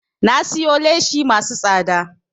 Na siyo leshi masu tsada